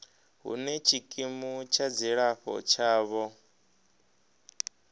hune tshikimu tsha dzilafho tshavho